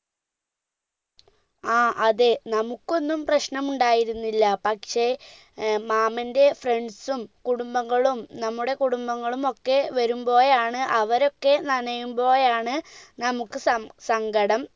ആ അതെ നമ്മുക്കൊന്നും പ്രശ്നം ഉണ്ടായിരുന്നില്ല പക്ഷെ മാമൻറെ friends ഉം കുടുംബങ്ങളും നമ്മുടെ കുടുംബങ്ങളുമൊക്കെ വരുംപ്പോഴാണ് അവരൊക്കെ നനയുംപ്പോഴാണ് നമ്മുക്ക് സം സങ്കടം